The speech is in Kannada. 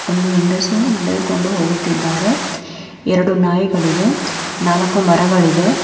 ಒಂದು ಹೆಂಗಸು ನಡೆದುಕೊಂಡು ಹೋಗುತ್ತಿದ್ದಾರೆ ಎರಡು ನಾಯಿಗಳಿವೆ ನಾಲಕ್ಕು ಮರಗಳಿವೆ.